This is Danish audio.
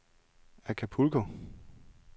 Acapulco